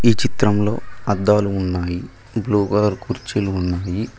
ఈ చిత్రంలో అద్దాలు ఉన్నాయి బ్లూ కలర్ కుర్చీలు ఉన్నాయి.